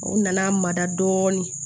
U nana mada dɔɔnin